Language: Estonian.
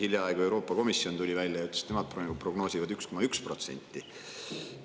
Hiljaaegu ütles Euroopa Komisjon, et nemad prognoosivad 1,1%.